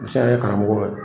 Misɛn ye karamɔgɔw ye